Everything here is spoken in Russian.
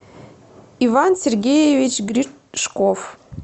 иван сергеевич гришков